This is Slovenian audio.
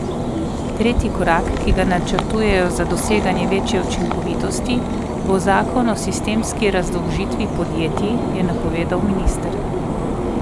Tretji korak, ki ga načrtujejo za doseganje večje učinkovitosti, bo zakon o sistemski razdolžitvi podjetij, je napovedal minister.